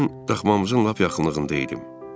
Mən damamızın lap yaxınlığında idim.